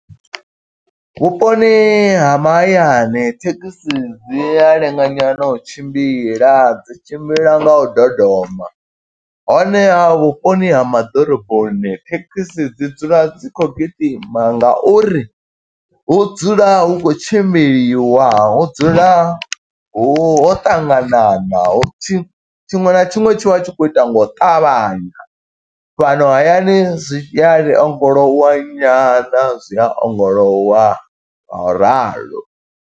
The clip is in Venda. Vhuponi ha mahayani, thekhisi dzi a lenga nyana u tshimbila, dzi tshimbila nga u dodoma. Honeha vhuponi ha ma ḓoroboni thekhisi dzi dzula dzi khou gidima, nga uri hu dzula hu khou tshimbiliwa hu dzula hu ho ṱanganana. Hu tshi tshiṅwe na tshiṅwe tshi vha tshi khou ita nga u ṱavhanya, fhano hayani zwi a li ongolowa nyana, zwi a ongolowa ngo ralo.